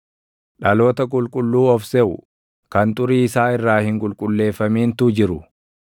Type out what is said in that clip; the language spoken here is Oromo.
dhaloota qulqulluu of seʼu, kan xurii isaa irraa hin qulqulleeffamintu jiru;